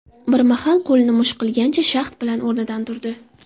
Bir mahal qo‘lini musht qilgancha, shahd bilan o‘rnidan turdi.